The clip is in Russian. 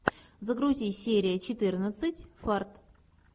загрузи серия четырнадцать фарт